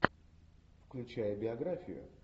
включай биографию